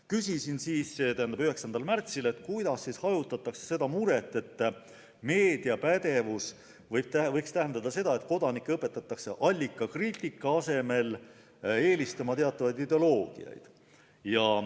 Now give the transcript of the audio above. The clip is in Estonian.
Küsisin 9. märtsil, kuidas hajutatakse muret, et meediapädevus võiks tähendada seda, et kodanikke õpetatakse allikakriitika asemel eelistama teatavaid ideoloogiaid.